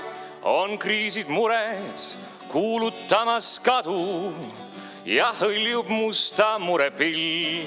On kriisid mures kuulutamas kadu ja hõljub musta mure pilv.